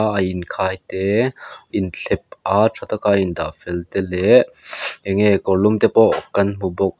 banga inkhai te inthlep a tha taka indah fel te leh eng nge kawrlum te pawh kan hmu bawk.